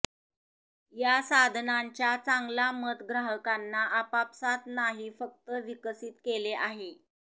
या साधनांच्या चांगला मत ग्राहकांना आपापसांत नाही फक्त विकसित केले आहे